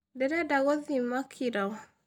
Ndĩrenda gwĩthima kiro.